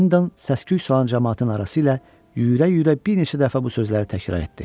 Hendon səsküylü olan camaatın arası ilə yüyürə-yüyürə bir neçə dəfə bu sözləri təkrar etdi.